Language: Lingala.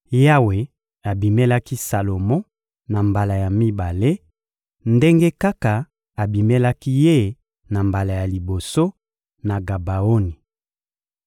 Yawe abimelaki Salomo na mbala ya mibale, ndenge kaka abimelaki ye na mbala ya liboso, na Gabaoni.